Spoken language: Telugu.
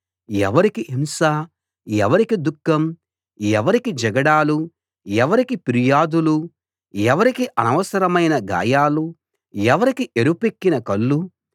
ఎవరికి హింస ఎవరికి దుఃఖం ఎవరికి జగడాలు ఎవరికి ఫిర్యాదులు ఎవరికి అనవసరమైన గాయాలు ఎవరికి ఎరుపెక్కిన కళ్ళు